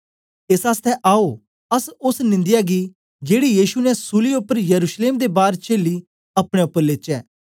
एस आसतै आओ अस ओस निंदाया गी जेड़ी युशी ने सूलीयै उपर यरूशलेम दे बार चेली अपने उपर लेचै